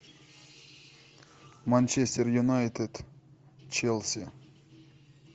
манчестер юнайтед челси